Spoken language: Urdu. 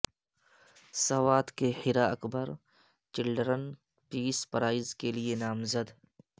سوات کی Hira Akbar children peace prize کے لیے نامزد